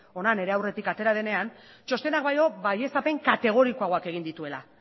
hona nire aurretik atera denean txostenak baino baieztapen kategorikoagoak egin dituela